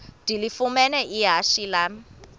ndilifumene ihashe lam